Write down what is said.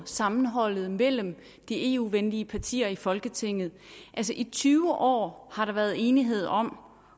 sammenholdet mellem de eu venlige partier i folketinget i tyve år har der været enighed om